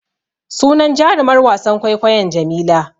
Sunan jarumar wasan kwaikwayon Jamila.